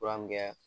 Fura min kɛ